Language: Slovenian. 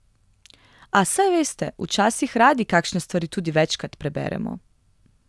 A saj veste, včasih radi kakšne stvari tudi večkrat preberemo.